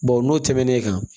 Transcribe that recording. Bawo n'o tɛmɛnen kan